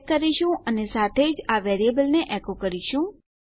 check કરીશું અને સાથે જ આ વેરીએબલને એકો કરીશું